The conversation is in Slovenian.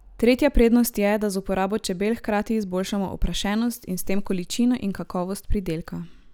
Tretja prednost je, da z uporabo čebel hkrati izboljšamo oprašenost in s tem količino in kakovost pridelka.